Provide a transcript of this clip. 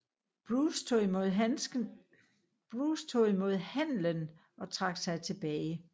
Bruce tog imod handlen og trak sig tilbage